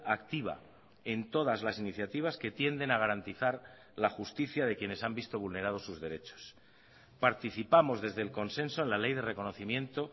activa en todas las iniciativas que tienden a garantizar la justicia de quienes han visto vulnerado sus derechos participamos desde el consenso en la ley de reconocimiento